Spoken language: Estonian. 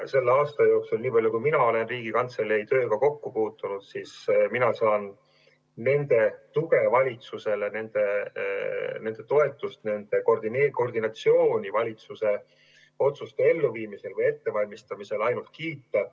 Selle aasta jooksul, nii palju kui mina olen Riigikantselei tööga kokku puutunud, saan ma nende tuge valitsusele, nende toetust, nende koordineerimistööd valitsuse otsuste elluviimisel või ettevalmistamisel ainult kiita.